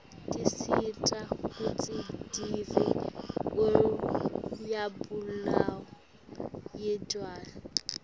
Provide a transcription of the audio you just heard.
tisita kutsi divie uryabulawa yirdlala